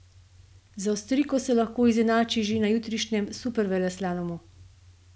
Z Avstrijko se lahko izenači že na jutrišnjem superveleslalomu.